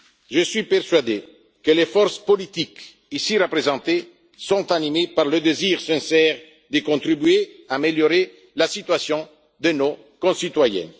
Je suis persuadé que les forces politiques ici représentées sont animées par le désir sincère de contribuer à améliorer la situation de nos concitoyens.